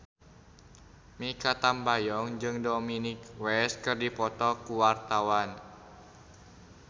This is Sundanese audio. Mikha Tambayong jeung Dominic West keur dipoto ku wartawan